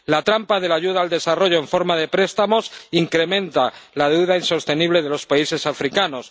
La trampa de la ayuda al desarrollo en forma de préstamos incrementa la deuda insostenible de los países africanos.